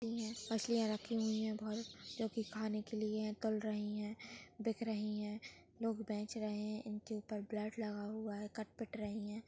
मच्छलिया रखी हुई है बहुत जो की खाने के लिए तल रही है बिक रही है। लोग बेच रहे इनके उपर ब्लड लगा हुआ है कट-पिट रही है।